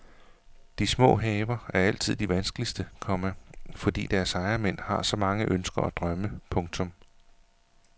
De små haver er altid de vanskeligste, komma fordi deres ejermænd har så mange ønsker og drømme. punktum